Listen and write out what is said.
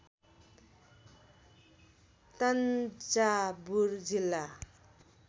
तङ्जावुर जिल्ला